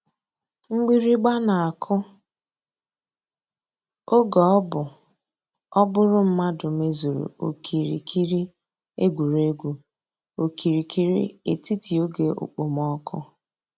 Mgbìrị̀gba nà-àkụ̀ ògè ọ̀ bú ọ́ bụ̀rù mmàdụ̀ mèzùrù òkìrìkìrì ègwè́ré́gwụ̀ òkìrìkìrì ètítì ògè òkpòmọ́kụ̀.